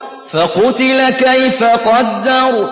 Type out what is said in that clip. فَقُتِلَ كَيْفَ قَدَّرَ